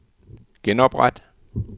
genopret